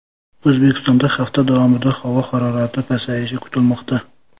O‘zbekistonda hafta davomida havo harorati pasayishi kutilmoqda.